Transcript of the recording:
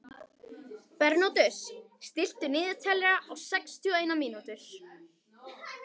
Bernódus, stilltu niðurteljara á sextíu og eina mínútur.